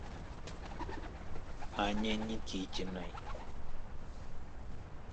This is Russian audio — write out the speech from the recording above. анне никитиной